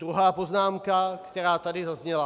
Druhá poznámka, která tady zazněla.